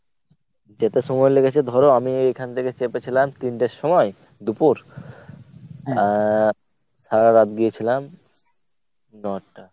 যেতে সময় লেগেছে ধর আমি এখান থেকে চেপেছিলাম তিনটের সময় দুপুর আহ সারারাত গিয়েছিলাম ন’টা।